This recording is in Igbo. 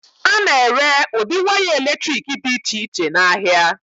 A na-ere ụdị waya eletrik dị iche iche n'ahịa.